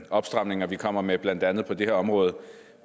opstramninger vi kommer med blandt andet på det her område